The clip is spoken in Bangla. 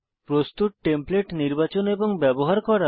প্রস্তুত টেমপ্লেট নির্বাচন এবং ব্যবহার করা